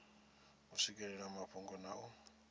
u swikelela mafhungo na u